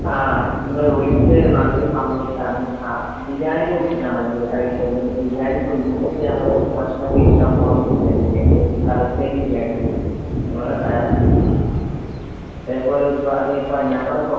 ആഹ് ഇങ്ങള് വിളിച്ചത് നല്ലൊരു സമയത്താണ്. ബിരിയാണി ആ. ബിരിയാണിനെ കുറിച്ചിട്ടാണോ അവര് അറിയേണ്ടത്? ബിരിയാണി ഇപ്പൊ ഇന്നിപ്പോ ഞങ്ങള് ഭക്ഷണം കഴിക്കാൻ പോണത് ബിരിയാണിയന്നേണ്. എന്ത് വെച്ചാല് തലശ്ശേരി ബിരിയാണിയാണ്. അതേപോലെ ഇപ്പൊ ഒരുപാട് ഞങ്ങളെ തൊട്ടടുത്ത്